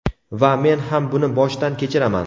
Va men ham buni boshdan kechiraman.